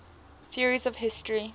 theories of history